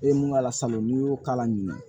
E ye mun k'a la salon n'i y'o k'a la ɲinɛ